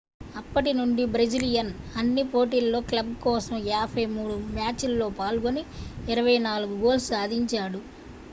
అప్పటి నుండి బ్రెజిలియన్ అన్ని పోటీలలో క్లబ్ కోసం 53 మ్యాచ్ లలో పాల్గొని 24 గోల్స్ సాధించాడు